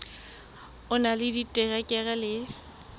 o na le diterekere le